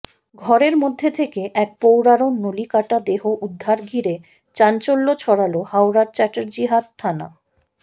ঘরের মধ্যে থেকে এক প্রৌঢ়ার নলি কাটা দেহ উদ্ধার ঘিরে চাঞ্চল্য ছড়াল হাওড়ার চ্যাটার্জিহাট থানা